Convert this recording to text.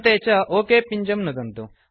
अन्ते च ओक पिञ्जं नुदन्तु